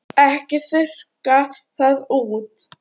Ekki þurrka það út.